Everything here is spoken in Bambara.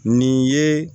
Nin ye